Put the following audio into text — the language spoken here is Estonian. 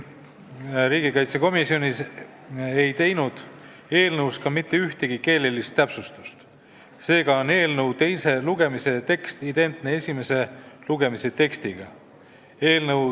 Riigikaitsekomisjon ei teinud eelnõus mitte ühtegi keelelist täpsustust, seega on eelnõu teise lugemise tekst identne esimese lugemise tekstiga.